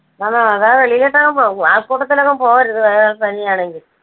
ആ അതാണ് വെളിയിലൊട്ടൊന്നും പോ ആ~ആൾക്കൂട്ടത്തിലൊന്നും പോകരുത് viral പനി ആണെങ്കിൽ.